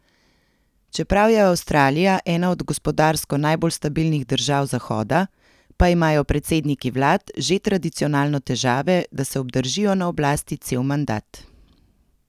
Čeprav je Avstralija ena od gospodarsko najbolj stabilnih držav Zahoda, pa imajo predsedniki vlad že tradicionalno težave, da se obdržijo na oblasti cel mandat.